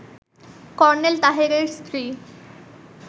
colonel তাহেরের স্ত্রী